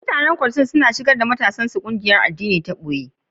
Mutanen Kwottos suna shigar da ƴan matashin su cikin ƙungiyar addini ta boye.